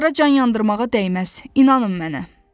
Onlara can yandırmağa dəyməz, inanın mənə.